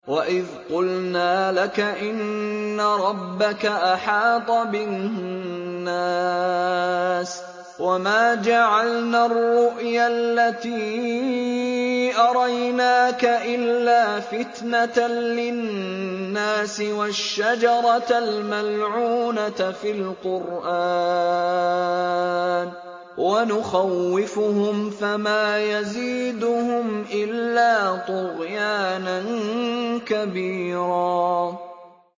وَإِذْ قُلْنَا لَكَ إِنَّ رَبَّكَ أَحَاطَ بِالنَّاسِ ۚ وَمَا جَعَلْنَا الرُّؤْيَا الَّتِي أَرَيْنَاكَ إِلَّا فِتْنَةً لِّلنَّاسِ وَالشَّجَرَةَ الْمَلْعُونَةَ فِي الْقُرْآنِ ۚ وَنُخَوِّفُهُمْ فَمَا يَزِيدُهُمْ إِلَّا طُغْيَانًا كَبِيرًا